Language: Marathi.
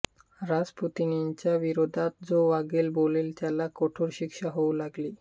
रासपुतीनच्या विरोधात जो वागेल बोलेल त्याला कठोर शिक्षा होऊ लागली